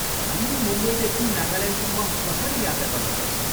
हामी मुम्बईदेखि नागाल्यान्डसम्म कसरी यात्रा गर्न सक्छौँ?